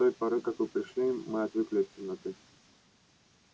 да с той поры как вы пришли мы отвыкли от темноты